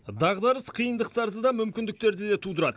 дағдарыс қиындықтарды да мүмкіндіктерді де тудырады